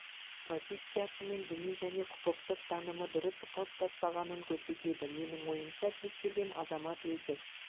позициясы мен діни және құқықтық танымы дұрыс қалыптаспағанын көрсетеді менің ойымша кез келген азамат өзі